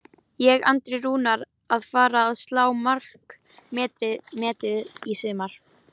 Er Andri Rúnar að fara að slá markametið í sumar?